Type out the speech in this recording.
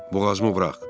Boğazımı burax.